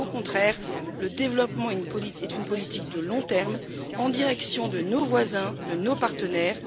Au contraire, le développement est une politique de long terme en direction de nos voisins, de nos partenaires.